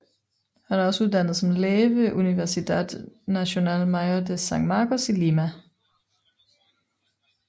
Han er også uddannet som læge ved Universidad Nacional Mayor de San Marcos i Lima